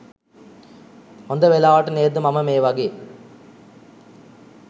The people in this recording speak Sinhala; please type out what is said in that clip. හොඳ වෙලාවට නේද මම මේ වගේ